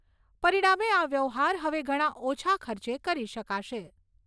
પરીણામે આ વ્યવહાર હવે ઘણા ઓછા ખર્ચે કરી શકાશે.